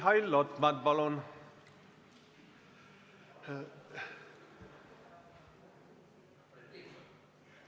Mihhail Lotman, palun!